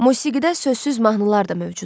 Musiqidə sözsüz mahnılar da mövcuddur.